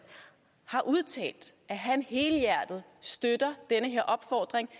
har udtalt at han helhjertet støtter den her opfordring